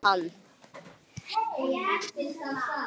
Láttu mig fá hann.